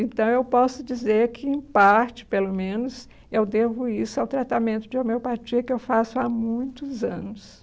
Então, eu posso dizer que, em parte, pelo menos, eu devo isso ao tratamento de homeopatia que eu faço há muitos anos.